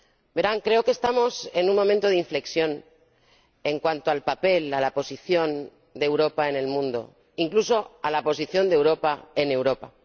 Verán, creo que estamos en un momento de inflexión en cuanto al papel, a la posición, de Europa en el mundo, incluso en cuanto a la posición de Europa en Europa.